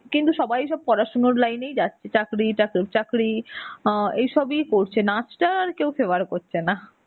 কিন্তু সবাই সব পড়াশুনোর line এই যাচ্ছে. চাকরি চাক~ চাকরি আ এইসবই করছে. নাচটা আর কেউ favour করছে না.